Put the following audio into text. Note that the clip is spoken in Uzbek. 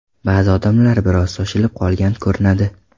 Ba’zi odamlar biroz shoshilib qolgan ko‘rinadi.